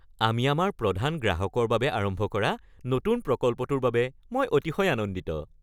আমি আমাৰ প্ৰধান গ্ৰাহকৰ বাবে আৰম্ভ কৰা নতুন প্ৰকল্পটোৰ বাবে মই অতিশয় আনন্দিত।